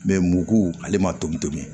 Mɛ mugu ale ma tobi tobi